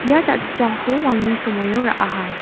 ia jachipchangko walni somoio ra·aha.